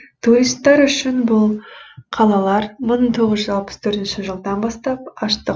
туристтар үшін бұл қалалар мың тоғыз жүз алпыс төртінші жылдан бастап аштық